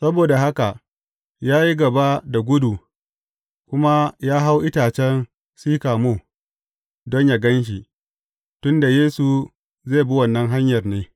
Saboda haka, ya yi gaba da gudu, kuma ya hau itacen sikamo, don yă gan shi, tun da Yesu zai bi wannan hanyar ne.